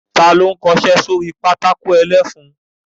Ta ló ń kọṣẹ́ sórí pátákó ẹlẹ́fun?